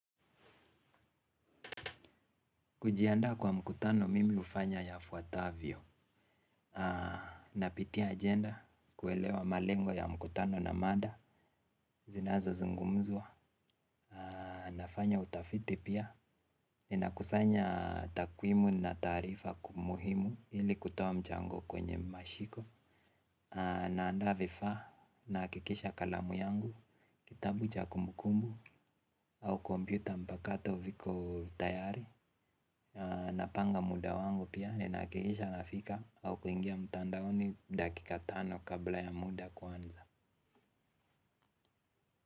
Kujiandaa kwa mkutano, mimi hufanya yafuatavyo. Napitia ajenda, kuelewa malengo ya mkutano na mada zinazozungumzwa, nafanya utafiti pia. Ninakusanya takwimu na taarifa muhimu ili kutoa mchango kwenye mashiko. Naandaa vifaa, nahakikisha kalamu yangu, kitabu cha kumbukumbu au kompyuta mpakato viko tayari. Napanga muda wangu pia ninahakikisha nafika au kuingia mtandaoni dakika tano kabla ya muda kuanza.